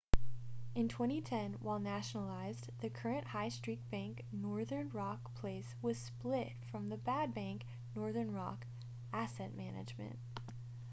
in 2010 while nationalised the current high street bank northern rock plc was split from the ‘bad bank’ northern rock asset management